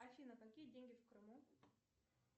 афина какие деньги в крыму